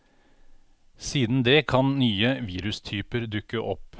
Siden det kan nye virustyper dukke opp.